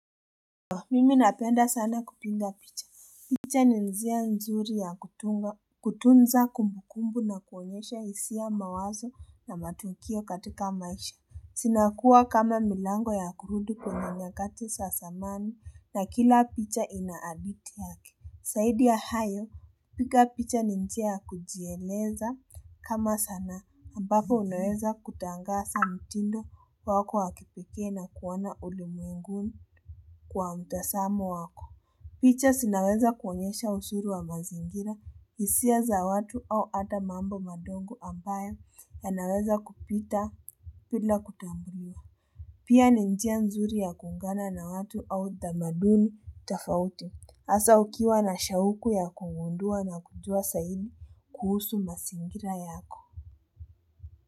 Mimi napenda sana kupiga picha. Picha njia nzuri ya kutunza kumbukumbu na kuonyesha hisia mawazo na matukio katika maisha. Zinakuwa kama milango ya kurudi kwenye nyakati za zamani na kila picha ina hadithi yake. Zaidi ya hayo, piga picha ni njia ya kujieleza kama sanaa, ambapo unaweza kutangaza mtindo wa wako wakipekee na kuona ulimwenguni kwa mtazamo wako. Picha zinaweza kuonyesha uzuri wa mazingira, hisia za watu au hata mambo madogo ambayo yanaweza kupita bila kutambulia. Pia ni njia nzuri ya kuungana na watu au utamaduni tofauti hasa ukiwa na shauku ya kugundua na kujua zaidi kuhusu mazingira yako.